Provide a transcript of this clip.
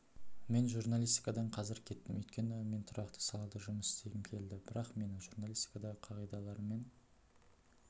мен журналистикадан қазір кеттім өйткені мен тұрақты салада жұмыс істегім келді бірақ менің журналистикадағы қағидаларым мен